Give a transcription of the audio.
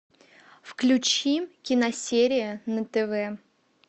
включи киносерия на тв